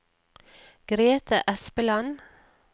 Grethe Espeland